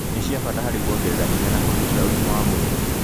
nĩ cia bata harĩ kuongerera hinya na kgitĩra ũgima wa mwĩrĩ.